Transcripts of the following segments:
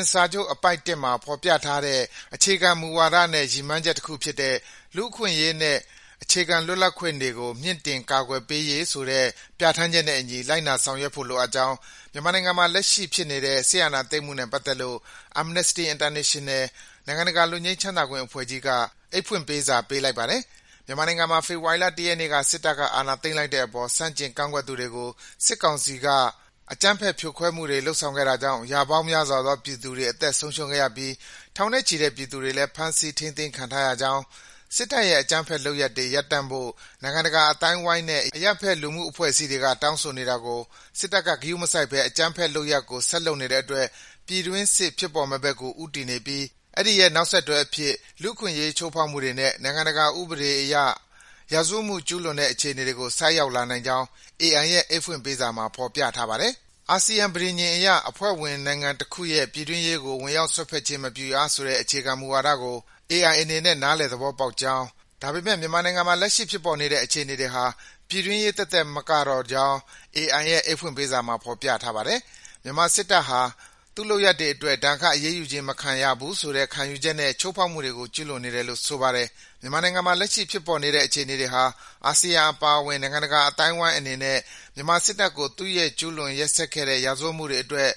ဉ်စာချုပ် အပိုဒ် ၁ မှာ ဖော်ပြထားတဲ့ အခြေခံမူဝါဒနဲ့ ရည်မှန်းချက်တခုဖြစ်တဲ့ “လူ့အခွင့်အရေးနှင့် အခြေခံလွတ်လပ်ခွင့်တွေကို မြင့်တင် ကာကွယ်ပေးရေး” ဆိုတဲ့ ပြဋ္ဌာန်းချက်နဲ့အညီ လိုက်နာဆောင်ရွက်ဖို့ လိုအပ်ကြောင်း မြန်မာနိုင်ငံမှာ လက်ရှိဖြစ်နေတဲ့ စစ်အာဏာသိမ်းမှုနဲ့ ပတ်သက်လို့ Amnesty International - နိုင်ငံတကာ လွတ်ငြိမ်းချမ်းသာခွင့်အဖွဲ့ကြီးက အိတ်ဖွင့်ပေးစာ ပေးပို့လိုက်ပါတယ်။ မြန်မာနိုင်ငံမှာ ဖေဖော်ဝါရီလ ၁ ရက်နေ့က စစ်တပ်က အာဏာသိမ်းလိုက်တဲ့အပေါ် ဆန့်ကျင်ကန့်ကွက်သူတွေကို စစ်ကောင်စီဘက်က အကြမ်းဖက် ဖြိုခွဲမှုတွေ လုပ်ဆောင်ခဲ့တာကြောင့် ရာပေါင်းများစွာသော ပြည်သူတွေ အသက်ဆုံးရှုံးခဲ့ရပြီး ထောင်နဲ့ချီတဲ့ ပြည်သူတွေလည်း ဖမ်းဆီး ထိန်းသိမ်းခံထားရကြောင်း၊ စစ်တပ်ရဲ့ အကြမ်းဖက်လုပ်ရပ်တွေ ရပ်တန့်ဖို့ နိုင်ငံတကာ အသိုင်းအဝိုင်းနဲ့ အရပ်ဘက် လူမှုအဖွဲ့အစည်းတွေက တောင်းဆိုနေတာကို စစ်တပ်က ဂရုမစိုက်ဘဲ အကြမ်းဖက်လုပ်ရပ်ကို ဆက်လုပ်နေတဲ့အတွက် ပြည်တွင်းစစ်ဖြစ်ပေါ်မယ့်ဘက်ကို ဦးတည်နေပြီး အဲဒီရဲ့ နောက်ဆက်တွဲအဖြစ် လူ့အခွင့်အရေး ချိုးဖောက်မှုတွေနဲ့ နိုင်ငံတကာ ဥပဒေအရ ရာဇဝတ်မှုတွေ ကျူးလွန်တဲ့ အခြေအနေကို ဆိုက်ရောက်လာနိုင်ကြောင်း AI ရဲ့ အိတ်ဖွင့်ပေးစာမှာ ဖော်ပြထားပါတယ်။ အာဆီယံပဋိညာဉ်အရ အဖွဲ့ဝင်နိုင်ငံတခုရဲ့ ပြည်တွင်းရေးကို ဝင်ရောက်စွက်ဖက်ခြင်း မပြုရဆိုတဲ့ အခြေခံမူဝါဒကို AI အနေနဲ့ နားလည်သဘောပေါက်ကြောင်း၊ ဒါပေမယ့် မြန်မာနိုင်ငံမှာ လက်ရှိဖြစ်ပေါ်နေတဲ့ အခြေအနေတွေဟာ ပြည်တွင်းရေးသက်သက် မကတော့ကြောင်း AI ရဲ့ အိတ်ဖွင့်ပေးစာမှာ ဖော်ပြထားပါတယ်။ မြန်မာစစ်တပ်ဟာ သူ့လုပ်ရပ်တွေအတွက် ဒဏ်ခတ်အရေးယူခြင်း မခံရနိုင်ဘူးဆိုတဲ့ ခံယူချက်နဲ့ ချိုးဖောက်မှုတွေကို ကျူးလွန်နေတယ်လို့ ဆိုပါတယ်။ မြန်မာနိုင်ငံမှာ လက်ရှိဖြစ်ပေါ်နေတဲ့ အခြေအနေတွေဟာ အာဆီယံအပါအဝင် နိုင်ငံတကာ အသိုင်းအဝိုင်းအနေနဲ့ မြန်မာစစ်တပ်ကို သူ့ရဲ့ အရင်ကျူးလွန်ခဲ့တဲ့ ရာဇဝတ်မှုတွေအတွက်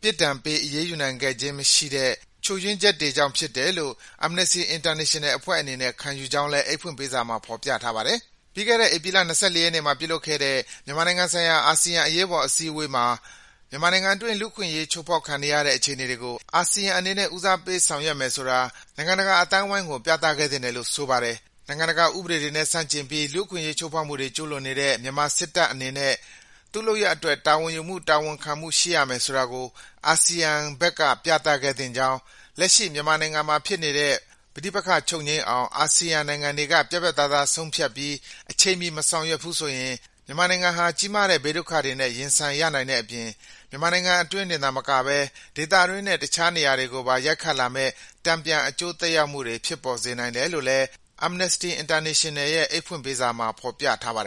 ပြစ်ဒဏ်ပေး အရေးယူနိုင်ခဲ့ခြင်း မရှိခဲ့တဲ့ ချို့ယွင်းချက်တွေကြောင့်ဖြစ်တယ်လို့ Amnesty International အဖွဲ့အနေနဲ့ ခံယူကြောင်းလည်း အိတ်ဖွင့်ပေးစာမှာ ဖော်ပြထားပါတယ်။ ပြီးခဲ့တဲ့ ဧပြီလ ၂၄ ရက်နေ့မှာ ပြုလုပ်ခဲ့တဲ့ မြန်မာနိုင်ငံဆိုင်ရာ အာဆီယံ အရေးပေါ် စည်းဝေးပွဲမှာ မြန်မာနိုင်ငံအတွင်း လူ့အခွင့်အရေး ချိုးဖောက်ခံနေရတဲ့ အခြေအနေတွေကို အာဆီယံအနေနဲ့ ဦးစားပေး ဆောင်ရွက်မယ်ဆိုတာ နိုင်ငံတကာ အသိုင်းအဝိုင်းကို ပြသခဲ့သင့်တယ်လို့ ဆိုပါတယ်။ နိုင်ငံတကာ ဥပဒေတွေနဲ့ ဆန့်ကျင်ပြီး လူ့အခွင့်အရေး ချိုးဖောက်မှုတွေ ကျူးလွန်နေတဲ့ မြန်မာစစ်တပ်အနေနဲ့ သူ့လုပ်ရပ်တွေအတွက် တာဝန်ယူမှု၊ တာဝန်ခံမှု ရှိရမယ်ဆိုတာကို အာဆီယံဘက်က ပြသခဲ့သင့်ကြောင်း၊ လက်ရှိ မြန်မာနိုင်ငံမှာဖြစ်နေတဲ့ ပဋိပက္ခ ချုပ်ငြိမ်းအောင် အာဆီယံနိုင်ငံတွေက ပြတ်ပြတ်သားသား ဆုံးဖြတ်ပြီး အချိန်မီ မဆောင်ရွက်နိုင်ဘူးဆိုရင် မြန်မာနိုင်ငံဟာ ကြီးမားတဲ့ ဘေးဒုက္ခတွေနဲ့ ရင်ဆိုင်ရနိုင်တဲ့အပြင် မြန်မာနိုင်ငံအတွင်းတင်သာမကဘဲ ဒေသတွင်းနဲ့ တခြားနေရာတွေကိုပါ ရိုက်ခတ်လာမယ့် တန်ပြန် အကျိုးသက်ရောက်မှုတွေ ဖြစ်ပေါ်စေနိုင်တယ်လို့ Amnesty International ရဲ့ အိတ်ဖွင့်ပေးစာမှာ ဖော်ပြထားပါတယ်